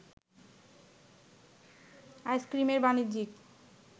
আইসক্রিমের বাণিজ্যিক